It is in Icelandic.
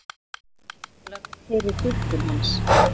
Ertu sammála þeirri túlkun hans?